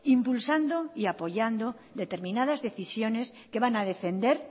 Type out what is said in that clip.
impulsando y apoyando determinadas decisiones que van a defender